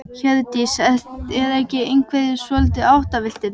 Hjördís: Eru ekki einhverjir svolítið áttavilltir?